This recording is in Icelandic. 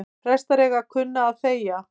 Prestar eiga að kunna að þegja